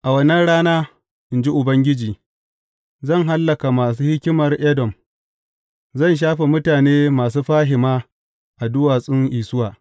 A wannan rana, in jin Ubangiji, zan hallaka masu hikimar Edom, zan shafe mutane masu fahima a duwatsun Isuwa.